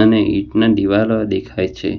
અને ઇટના દીવાલો દેખાય છે.